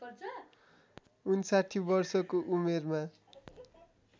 ५९ वर्षको उमेरमा